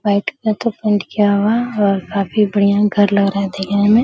बैठ के तो पेंट किया हुआ और काफी बढ़िया घर लग रहा है देखने में।